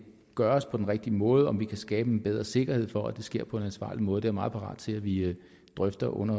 gøres på den rigtige måde om vi kan skabe en bedre sikkerhed for at det sker på en ansvarlig måde jeg meget parat til at vi drøfter under